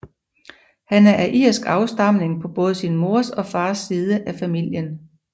Han er af irsk afstamning på både sin mors og fars side af familien